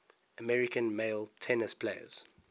american male tennis players